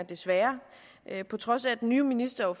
desværre på trods af at den nye minister